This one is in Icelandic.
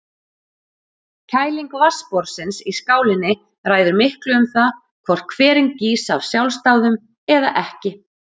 Kæling vatnsborðsins í skálinni ræður miklu um það hvort hverinn gýs af sjálfsdáðum eða ekki.